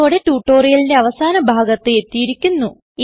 ഇതോടെ ട്യൂട്ടോറിയലിന്റെ അവസാന ഭാഗത്ത് എത്തിയിരിക്കുന്നു